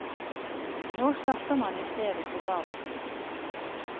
Nå starter man i stedet på bar bakke.